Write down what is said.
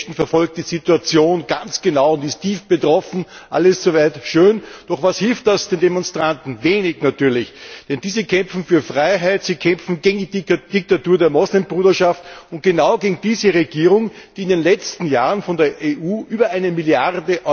Lady Ashton verfolgt die Situation ganz genau und ist tief betroffen alles so weit, so schön. Doch was hilft das den Demonstranten? Wenig natürlich! Denn diese kämpfen für Freiheit, sie kämpfen gegen die Diktatur der Moslem Bruderschaft und genau gegen diese Regierung, die in den letzten Jahren von der EU über 1 Mrd.